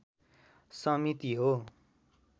समिति हो।